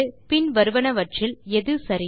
பின் வருவனவற்றில் எது சரி